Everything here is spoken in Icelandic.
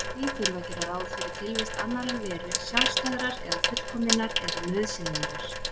Því þurfi að gera ráð fyrir tilvist annarrar veru, sjálfstæðrar eða fullkominnar eða nauðsynlegrar.